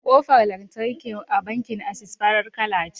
Kofar lantarki a bankin Access farar kala ce.